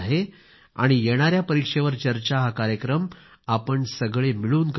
आणि येणाऱ्या परीक्षेवर चर्चा हा कार्यक्रम आपण सगळे मिळून करूयात